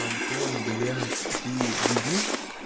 антон блять ты дебил